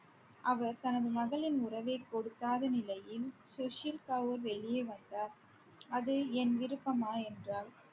அவர் தனது மகளின் உறவை கொடுக்காத நிலையில் சுஷீல் கவுர் வெளியே வந்தார் அது என் விருப்பமா என்றாள்